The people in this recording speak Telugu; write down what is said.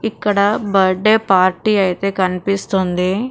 ఇక్కడ బర్త్డే పార్టీ ఐతే కన్పిస్తుంది --